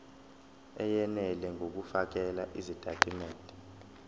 eyenele ngokufakela izitatimende